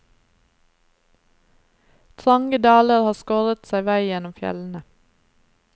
Trange daler har skåret seg vei gjennom fjellene.